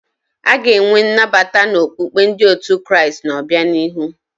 A ga-enwe nnabata na okpukpe ndị otu Kraịst n'obianihu.